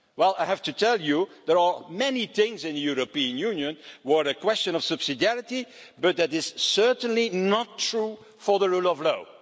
I have to tell you, there are many things in the European Union that are a question of subsidiarity, but that is certainly not true for the rule of law.